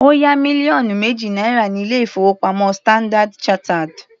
Ó yá mílíọ̀nù méjì náírà ní ilé-ìfowópamọ́ Standard chartered.